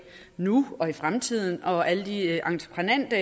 nu og i fremtiden og for alle de entreprenante